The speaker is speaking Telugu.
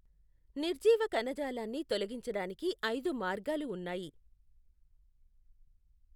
నిర్జీవ కణజాలాన్ని తొలగించడానికి ఐదు మార్గాలు ఉన్నాయి.